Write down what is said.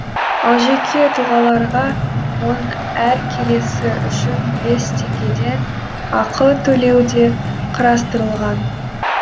ал жеке тұлғаларға оның әр келісі үшін бес теңгеден ақы төлеу де қарастырылған